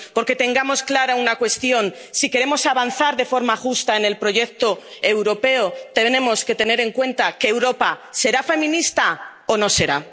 Porque tengamos clara una cuestión si queremos avanzar de forma justa en el proyecto europeo, tenemos que tener en cuenta que Europa será feminista o no será.